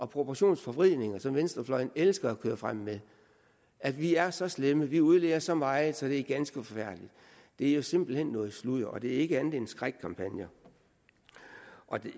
proportionsforvridninger som venstrefløjen elsker at køre frem med at vi er så slemme og at vi udleder så meget så det er ganske forfærdeligt det er jo simpelt hen noget sludder det er ikke andet end skrækkampagner og